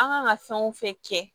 An kan ka fɛn o fɛn kɛ